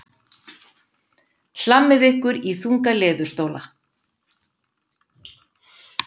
Hlammið ykkur í þunga leðurstóla.